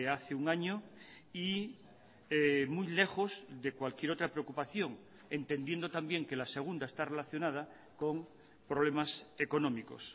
hace un año y muy lejos de cualquier otra preocupación entendiendo también que la segunda está relacionada con problemas económicos